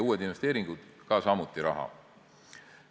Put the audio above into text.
Uued investeeringud vajavad samuti raha.